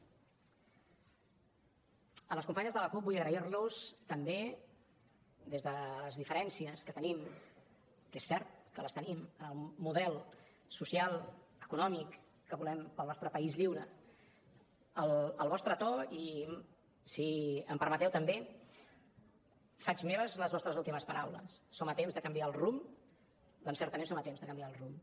a les companyes de la cup vull agrair los també des de les diferències que tenim que és cert que les tenim en el model social econòmic que volem per al nostre país lliure el vostre to i si em permeteu també faig meves les vostres últimes paraules som a temps de canviar el rumb perquè certament som a temps de canviar el rumb